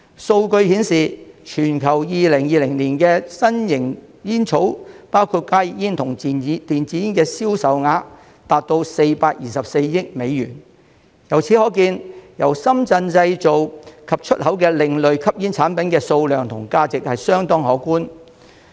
數據顯示，全球2020年的新型煙草，包括加熱煙和電子煙的銷售額達424億美元，由此可見，由深圳製造及出口的另類吸煙產品的數量和價值相當可觀。